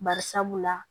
Barisabula